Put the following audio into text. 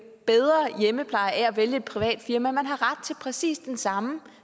bedre hjemmepleje ved at vælge et privat firma man har ret til præcis det samme